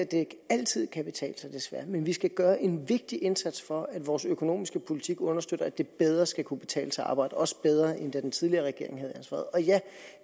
det altid kan betale sig men vi skal gøre en vigtig indsats for at vores økonomiske politik understøtter at det bedre skal kunne betale sig at arbejde også bedre end da den tidligere regering havde ansvaret og ja